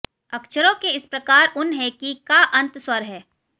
अक्षरों के इस प्रकार उन है कि का अंत स्वर हैं